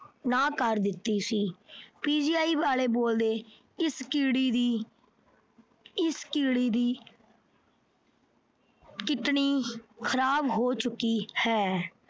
ਨਾਂਹ ਕਰ ਦਿੱਤੀ ਸੀ। PGI ਵਾਲੇ ਬੋਲਦੇ ਇਸ ਕੀੜੀ ਦੀ ਇਸ ਕੀੜੀ ਦੀ kidney ਖਰਾਬ ਹੋ ਚੁੱਕੀ ਹੈ।